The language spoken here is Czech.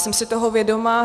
Jsem si toho vědoma.